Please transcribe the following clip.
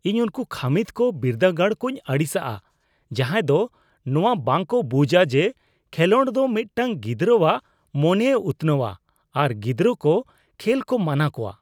ᱤᱧ ᱩᱱᱠᱩ ᱠᱷᱟᱹᱢᱤᱫ ᱟᱨ ᱵᱤᱨᱫᱟᱹᱜᱟᱲ ᱠᱚᱧ ᱟᱹᱲᱤᱥᱟᱜᱼᱟ , ᱡᱟᱦᱟᱸᱭ ᱫᱚ ᱱᱚᱣᱟ ᱵᱟᱝ ᱠᱚ ᱵᱩᱡᱟ ᱡᱮ, ᱠᱷᱮᱞᱳᱰ ᱫᱚ ᱢᱤᱫᱴᱟᱝ ᱜᱤᱫᱽᱨᱟᱣᱟᱜ ᱢᱚᱱᱮᱭ ᱩᱛᱱᱟᱹᱣᱟ ᱟᱨ ᱜᱤᱫᱽᱨᱟᱹ ᱠᱚ ᱠᱷᱮᱞ ᱠᱚ ᱢᱟᱱᱟ ᱠᱚᱣᱟ ᱾